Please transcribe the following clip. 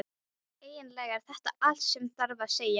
Eiginlega er þetta allt sem þarf að segja.